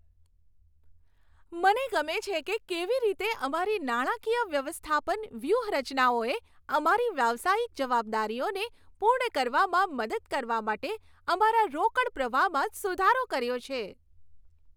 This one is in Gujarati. મને ગમે છે કે કેવી રીતે અમારી નાણાકીય વ્યવસ્થાપન વ્યૂહરચનાઓએ અમારી વ્યવસાયિક જવાબદારીઓને પૂર્ણ કરવામાં મદદ કરવા માટે અમારા રોકડ પ્રવાહમાં સુધારો કર્યો છે.